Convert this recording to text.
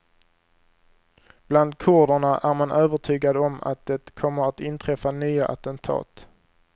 Bland kurderna är man övertygad om att det kommer att inträffa nya attentat.